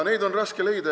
Neid on raske leida.